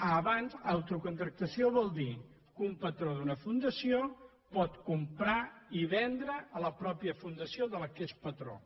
autocontractació vol dir que un patró d’una fundació pot comprar i vendre a la ma·teixa fundació de què és patró